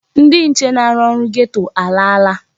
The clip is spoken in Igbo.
Ndị nche na-arụ na geto a alaala.